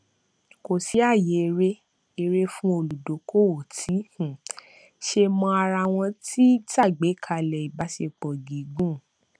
kò sí ààyè eré eré fún olùdókówó tí um ṣe mọ ara wọn tí ṣàgbékalẹ ìbáṣepọ gígùn